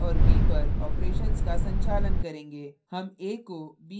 हम a और b पर operations का संचालन करेंगे